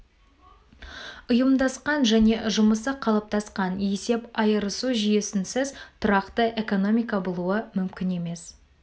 ұйымдасқан және жұмысы қалыптасқан есеп айырысу жүйесінсіз тұрақты экономика болуы мүмкін емес